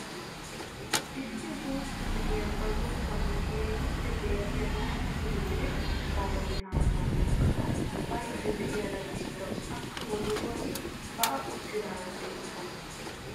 Issi guutta na'iyaa ba zokkuwaan keehippe deexxiyaa laatamu litirie gaalone haattaa tookkada baydda de'iyaara beettawus. akka wodoruwaan ba'a uttidaara beettawus.